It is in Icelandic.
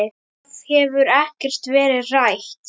Það hefur ekkert verið rætt.